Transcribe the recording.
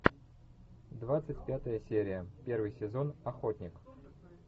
двадцать пятая серия первый сезон охотник